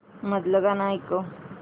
मधलं गाणं ऐकव